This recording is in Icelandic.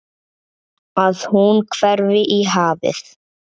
Að hún hverfi í hafið.